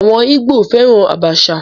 Àwọn Ìgbò fẹ́ran àbàṣà